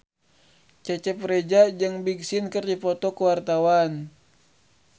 Cecep Reza jeung Big Sean keur dipoto ku wartawan